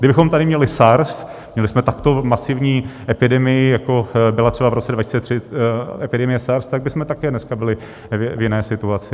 Kdybychom tady měli SARS, měli jsme takto masivní epidemii, jako byla třeba v roce 2003 epidemie SARS, tak bychom také dneska byli v jiné situaci.